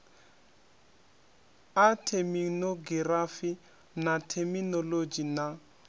a theminogirafi na theminolodzhi na